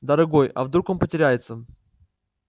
дорогой а вдруг он потеряется